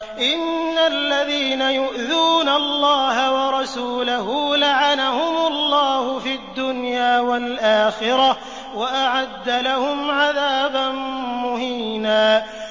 إِنَّ الَّذِينَ يُؤْذُونَ اللَّهَ وَرَسُولَهُ لَعَنَهُمُ اللَّهُ فِي الدُّنْيَا وَالْآخِرَةِ وَأَعَدَّ لَهُمْ عَذَابًا مُّهِينًا